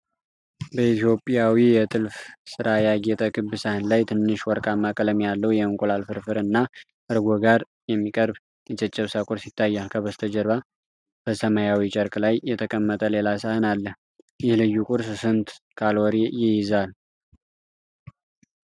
በኢትዮጵያዊ የጥልፍ ሥራ ያጌጠ ክብ ሳህን ላይ፣ ትንሽ ወርቃማ ቀለም ያለው የእንቁላል ፍርፍር እና እርጎ ጋር የሚቀርብ የጨጨብሳ ቁርስ ይታያል። ከበስተጀርባ በሰማያዊ ጨርቅ ላይ የተቀመጠ ሌላ ሳህን አለ። ይህ ልዩ ቁርስ ስንት ካሎሪ ይይዛል?